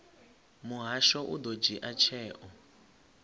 muhasho u ḓo dzhia tsheo